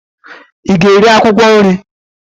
ị ga-eri akwụkwọ nri